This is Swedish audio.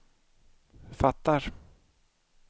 fattar